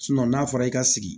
n'a fɔra i ka sigi